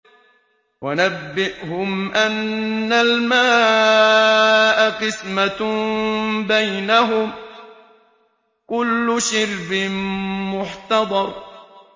وَنَبِّئْهُمْ أَنَّ الْمَاءَ قِسْمَةٌ بَيْنَهُمْ ۖ كُلُّ شِرْبٍ مُّحْتَضَرٌ